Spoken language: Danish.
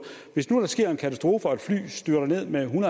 hvis nu der sker en katastrofe og et fly styrter ned med en